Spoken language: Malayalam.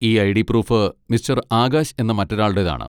ഈ ഐ.ഡി. പ്രൂഫ് മിസ്റ്റർ ആകാശ് എന്ന മറ്റൊരാളുടെതാണ്.